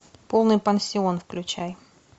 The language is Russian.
полный пансион включай